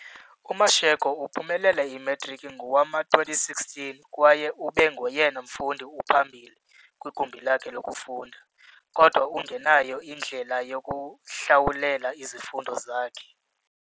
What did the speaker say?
UMashego uphumelele imatriki ngowama-2016 kwaye ube ngoyena mfundi uphambili kwigumbi lakhe lokufunda, kodwa ungenayo indlela yokuhlawulela izifundo zakhe.